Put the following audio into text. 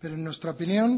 pero en nuestra opinión